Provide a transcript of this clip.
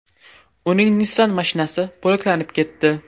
Uning Nissan mashinasi bo‘laklanib ketdi.